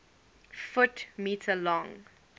ft m long